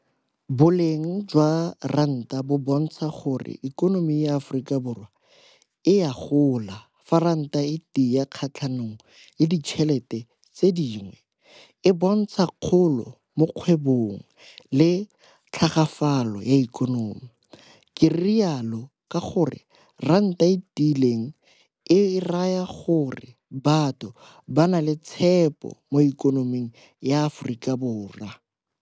Boleng jwa ranta bo bontsha gore ikonomi ya Aforika Borwa e a gola fa ranta e tia kgatlhanong le ditšhelete tse dingwe. E bontsha kgolo mo kgwebong le tlhagafalo ya ikonomi. Ke rialo ka gore ranta e tiileng e raya gore batho ba na le tshepo mo ikonoming ya Aforika Borwa.